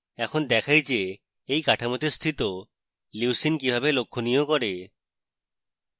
এখন দেখাই যে এই কাঠামোতে স্থিত leucine কিভাবে লক্ষণীয় করে